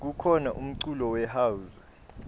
kukhona umculo we house